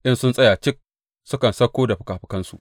In sun tsaya cik, sukan sauko da fikafikansu.